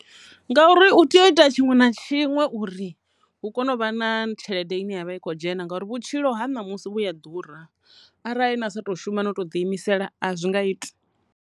Ngauri u tea u ita tshiṅwe na tshiṅwe uri hu kone u vha na tshelede ine yavha i kho dzhena ngauri vhutshilo ha ṋamusi vhuya a ḓura, arali na sa to shuma no to ḓi imisela a zwi nga iti.